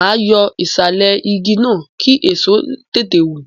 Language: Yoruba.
Ma yọ ìsàlẹ̀ igi náà, kí èso tètè wù.